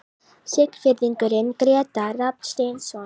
Siglfirðingurinn Grétar Rafn Steinsson